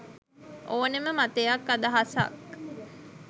ඕනෙම මතයක් අදහසක්